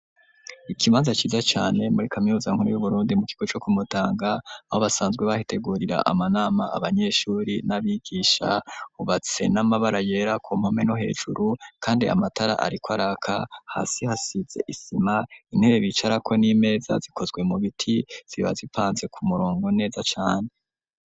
Ikibanza ciza cane muri kaminuza nkuru y'Uburundi mu kigo co ku Mutanga aho basanzwe bahitegurira amanama, abanyeshuri n'abigisha, hubatse n'amabara yera ku mpome no hejuru kandi amatara ariko araka, hasi hasize isima, intebe bicarako n'imeza zikozwe mu biti ziba zipanze ku murongo neza cane.